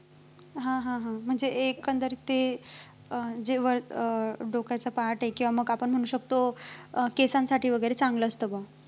ह ह ह म्हणजे एकंदरीत ते अं जेव्हा अं डोक्याचा part आहे किंवा आपण म्हणू शकतो अं केसासाठी वैगेरे चांगलं असतं बघ.